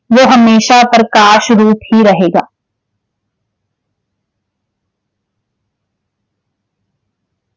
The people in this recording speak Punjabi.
ਵੋ ਹਮੇਸ਼ਾ ਪ੍ਰਕਾਸ਼ ਰੂਪ ਹੀ ਰਹੇਗਾ।